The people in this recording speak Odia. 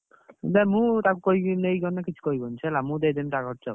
ମୁଁ ତାକୁ କହିକି ନେଇଗଲେ ସେ କିଛି କହିବନି ସେ ହେଲା ମୁଁ ଦେଇଦେବି ତା ଖର୍ଚ ହେଲା।